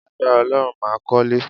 Lágbára Ọlọ́run, màá kọ́lé